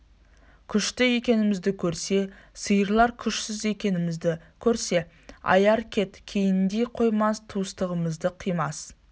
күшті екенімізді көрсе сыйлар күшсіз екенімізді көрсе аяр кет кейіндей қоймас туыстығымызды қимас